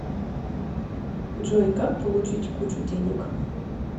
джой как получить кучу денег